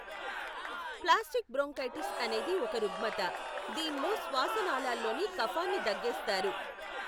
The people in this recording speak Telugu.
ప్లాస్టిక్ బ్రోన్కైటిస్ అనేది ఒక రుగ్మత, దీనిలో శ్వాస నాళ్ళలోని కఫాన్ని దగ్గేస్తారు.